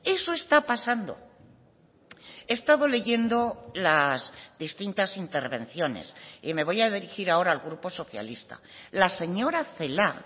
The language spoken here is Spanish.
eso está pasando he estado leyendo las distintas intervenciones y me voy a dirigir ahora al grupo socialista la señora celaá